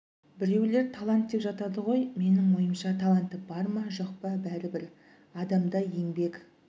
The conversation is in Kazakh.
біреулер талант деп жатады ғой менің ойымша таланты бар ма жоқ па бәрібір адамда еңбек